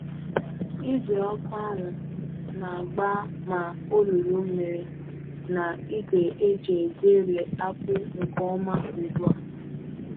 Igwe ọkụ ahụ na-agba ma olulu mmiri na igwe e ji egweri akpu nke ọma ugbu a.